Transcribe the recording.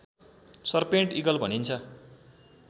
serpent eagle भनिन्छ